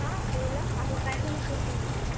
हां बोला आणि काय म्हणत होतीस तू?